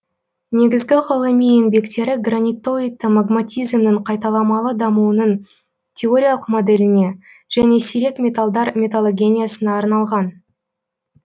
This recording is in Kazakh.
негізгі ғылыми еңбектері гранитоидты магматизмнің қайталамалы дамуының теориялық моделіне және сирек металдар металлогениясына арналған